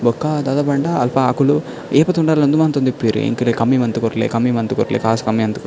ಬೊಕ ದಾದ ಪಂಡ ಅಲ್ಪ ಅಕುಲು ಏಪ ತೂಂಡಲ ಉಂದು ಮಂತೊಂದಿಪ್ಪುವೆರ್ ಎಂಕೆಲೆ ಕಮ್ಮಿ ಮಂತ್ ಕೊರ್ಲೆ ಕಮ್ಮಿ ಮಂತ್ ಕೊರ್ಲೆ ಕಾಸ್ ಕಮ್ಮಿ ಮಂತ್ --